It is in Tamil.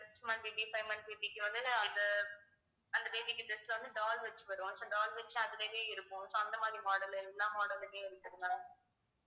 six month baby five month baby க்கு வந்து இது அந்த baby க்கு dress வந்து doll வெச்சி வரும் so doll வச்சி அது இருக்கும் so அந்த மாதிரி model எல்லாம் model மே இருக்குது ma'am